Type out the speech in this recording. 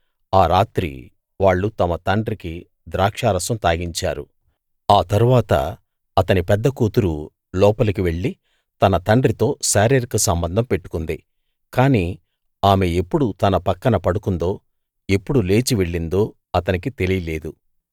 ఆ రాత్రి వాళ్ళు తమ తండ్రికి ద్రాక్షారసం తాగించారు ఆ తరువాత అతని పెద్ద కూతురు లోపలికి వెళ్ళి తన తండ్రితో శారీరక సంబంధం పెట్టుకుంది కాని ఆమె ఎప్పుడు తన పక్కన పడుకుందో ఎప్పుడు లేచి వెళ్లిందో అతనికి తెలియలేదు